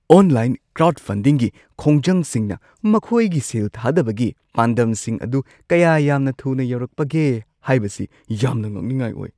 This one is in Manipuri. ꯑꯣꯟꯂꯥꯏꯟ ꯀ꯭ꯔꯥꯎꯗꯐꯟꯗꯤꯡꯒꯤ ꯈꯣꯡꯖꯪꯁꯤꯡꯅ ꯃꯈꯣꯏꯒꯤ ꯁꯦꯜ ꯊꯥꯗꯕꯒꯤ ꯄꯥꯟꯗꯝꯁꯤꯡ ꯑꯗꯨ ꯀꯌꯥ ꯌꯥꯝꯅ ꯊꯨꯅ ꯌꯧꯔꯛꯄꯒꯦ ꯍꯥꯏꯕꯁꯤ ꯌꯥꯝꯅ ꯉꯛꯅꯤꯡꯉꯥꯏ ꯑꯣꯏ ꯫